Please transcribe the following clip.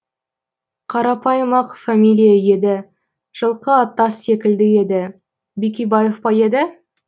қарапайым ақ фамилия еді жылқы аттас секілді еді бикебаев па еді